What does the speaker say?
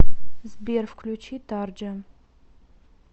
сбер включи тарджа